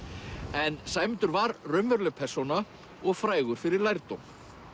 en Sæmundur var raunveruleg persóna og frægur fyrir lærdóm